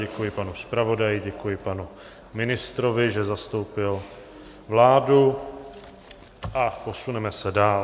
Děkuji panu zpravodaji, děkuji panu ministrovi, že zastoupil vládu, a posuneme se dál.